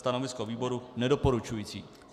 Stanovisko výboru nedoporučující.